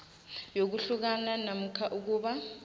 yokuhlukana namkha ukuba